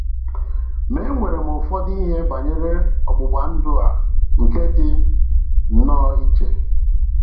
Ma e nwere ụfọdụ ihe banyere ọgbụgba ndụ a nke dị nnọọ iche.